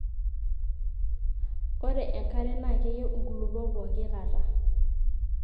ore enkare naa keyiu inkulopok pooki kata